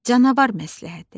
Canavar məsləhəti.